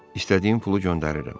İstədiyin pulu göndərirəm.